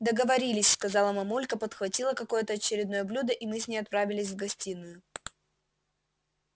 договорились сказала мамулька подхватила какое-то очередное блюдо и мы с ней отправились в гостиную